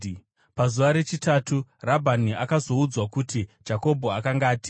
Pazuva rechitatu Rabhani akazoudzwa kuti Jakobho akanga atiza.